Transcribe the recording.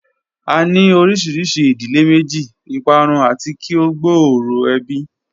A ni orisi idile meji, iparun ati ki o gbooro ebi